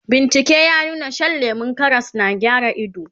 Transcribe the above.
bincike ya nuna Shan lemun Karas na gyara ido